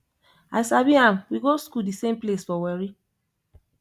i sabi am we go school the same place for warri